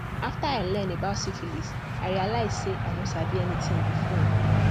after i learn about syphilis i realize say i no sabi anything before